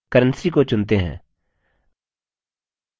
currency को चुनते हैं